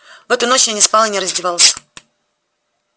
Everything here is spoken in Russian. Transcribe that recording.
в эту ночь я не спал и не раздевался